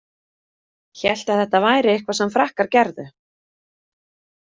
Hélt að þetta væri eitthvað sem Frakkar gerðu.